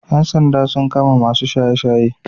Ƴan sanda sun kama masu shaye-shaye.